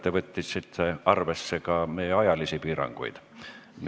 Tore, et te võtsite arvesse ka meie ajalisi piiranguid.